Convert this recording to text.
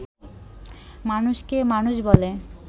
মানুষকে মানুষ বলে